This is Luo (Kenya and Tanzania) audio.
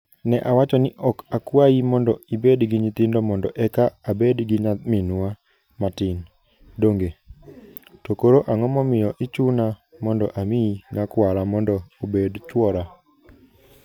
Ne awacho ni, 'Ok akwayi ni ibed gi nyithindo mondo eka abed gi nyaminwa matin, donge? To koro, ang'o momiyo ichuna mondo amiyi nyakwara mondo obed chwora?